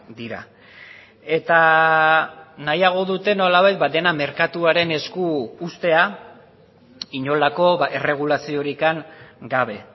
dira eta nahiago dute nolabait dena merkatuaren esku uztea inolako erregulaziorik gabe